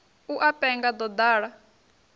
u a penga ḓo ḓala